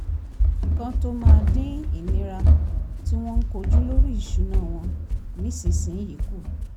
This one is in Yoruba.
kan tó máa dín ìnira tí wọ́n ń kojú lórí ìṣúná wọn nísinsìnyí kù